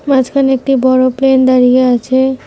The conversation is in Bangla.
মাঝখানে একটি বড়ো প্লেন দাঁড়িয়ে আছে।